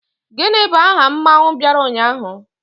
Gini bu aha mmanwu biara unyahu?